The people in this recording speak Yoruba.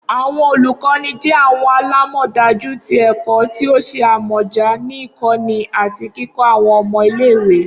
Awọn olukọni jẹ awọn alamọdaju ti ẹkọ ti o ṣe amọja ni ikọni ati kikọ awọn ọmọ ile-iwe